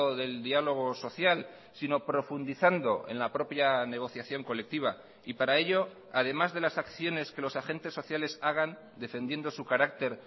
del diálogo social sino profundizando en la propia negociación colectiva y para ello además de las acciones que los agentes sociales hagan defendiendo su carácter